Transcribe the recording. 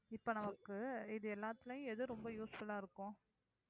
இப்ப நமக்கு இது எல்லாத்துலயும் எது ரொம்ப useful ஆ இருக்கும்